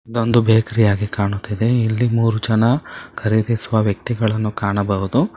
ಇದೊಂದು ಬೇಕರಿಯಾಗಿ ಕಾಣುತ್ತಿದೆ ಇಲ್ಲಿ ಮೂರು ಜನ ಖರೀದಿಸುವ ವ್ಯಕ್ತಿಗಳನ್ನು ಕಾಣಬಹುದು.